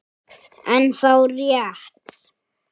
Er það rétt??